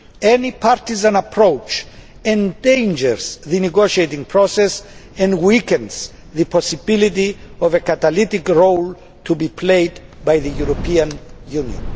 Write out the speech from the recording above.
Any partisan approach endangers the negotiating process and weakens the possibility of the catalytic role to be played by the European Union.